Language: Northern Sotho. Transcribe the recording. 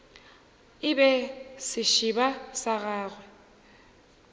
e be sešeba sa gagwe